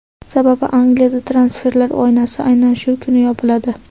Sababi Angliyada transferlar oynasi aynan shu kuni yopiladi.